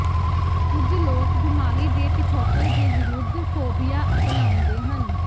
ਕੁਝ ਲੋਕ ਬੀਮਾਰੀ ਦੇ ਪਿਛੋਕੜ ਦੇ ਵਿਰੁੱਧ ਫੋਬੀਆ ਅਪਣਾਉਂਦੇ ਹਨ